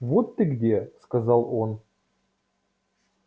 вот ты где сказал он